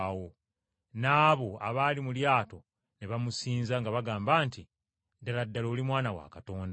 N’abo abaali mu lyato ne bamusinza nga bagamba nti, “Ddala ddala oli Mwana wa Katonda!”